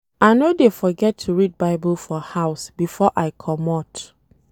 I no dey forget to read Bible for house before I comot.